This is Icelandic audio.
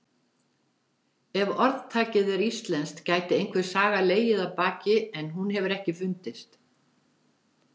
Ef orðtakið er íslenskt gæti einhver saga legið að baki en hún hefur ekki fundist.